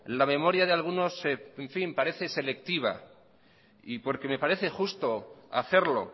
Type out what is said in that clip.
la memoria de algunos parece selectiva y porque me parece justo hacerlo